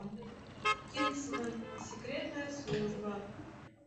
кингсман секретная служба